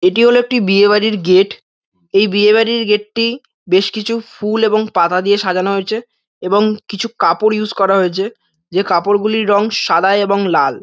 এটি হল একটি বিয়ে বাড়ির গেট এই বিয়ে বাড়ির গেট টি বেশ কিছু ফুল ও পাতা দিয়ে সাজানো হয়েছে এবং কিছু কাপড় ইয়ুস করা হয়েছে যে কাপড়গুলির রং সাদা এবং লাল।